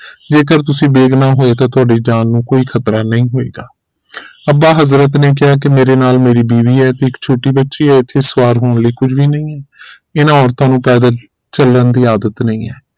ਜੇਕਰ ਤੁਸੀਂ ਬੇਗੁਨਾਹ ਹੋਏ ਤਾਂ ਤੁਹਾਡੀ ਜਾਨ ਨੂੰ ਕੋਈ ਖਤਰਾ ਨਹੀਂ ਹੋਏਗਾ ਅੱਬਾ ਹਜ਼ਰਤ ਨੇ ਕਿਹਾ ਮੇਰੇ ਨਾਲ ਮੇਰੀ ਬੀਵੀ ਹੈ ਤੇ ਇੱਕ ਛੋਟੀ ਬੱਚੀ ਹੈ ਇਥੇ ਸਵਾਰ ਹੋਣ ਲਈ ਕੁਝ ਵੀ ਨਹੀਂ ਹੈ ਇਨ੍ਹਾਂ ਔਰਤਾਂ ਨੂੰ ਪੈਦਲ ਚਲਣ ਦੀ ਆਦਤ ਨਹੀਂ ਹੈ